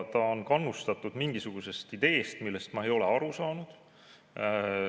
Ta on kannustatud mingisugusest ideest, millest ma ei ole aru saanud.